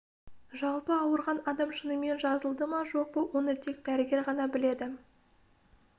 жалпы ауырған адам шынымен жазылды ма жоқ па оны тек дәрігер ғана біледі